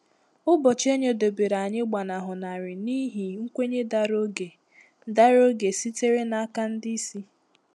Ụbọchị enyedobere anyị gbanahụ narị n’ihi nkwenye dara oge dara oge sitere n’aka ndị isi.